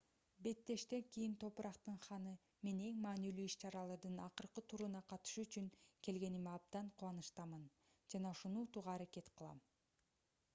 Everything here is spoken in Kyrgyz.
беттештен кийин топурактын ханы мен эң маанилүү иш-чаралардын акыркы туруна катышуу үчүн келгениме абдан кубанычтамын жана ушуну утууга аракет кылам